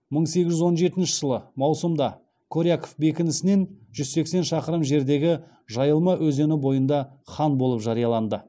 мың сегіз жүз он жетінші жылы маусымда коряков бекінісінен жүз сексен шақырым жердегі жайылма өзені бойында хан болып жарияланды